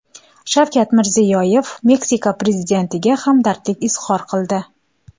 Shavkat Mirziyoyev Meksika prezidentiga hamdardlik izhor qildi.